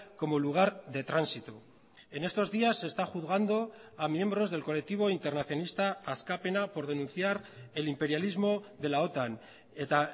como lugar de tránsito en estos días se está juzgando a miembros del colectivo internacionista askapena por denunciar el imperialismo de la otan eta